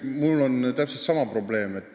Mul on täpselt sama probleem.